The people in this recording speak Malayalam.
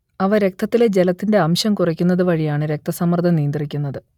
അവ രക്തത്തിലെ ജലത്തിന്റെ അംശം കുറയ്ക്കുന്നത് വഴിയാണ് രക്തസമ്മർദ്ദം നിയന്ത്രിക്കുന്നത്